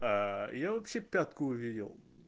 аа я вообще пятку увидел